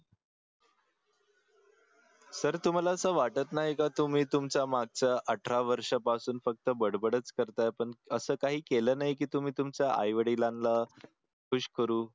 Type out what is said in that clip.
sir तुम्हाला असं वाटत नाही का तुंम्ही तुंमचा मागचा अठरा वर्षा पासून फक्त बडबडच करता पण असं काही केलं नाही कि तुम्ही तुमचा आई वडिलांना खुश करू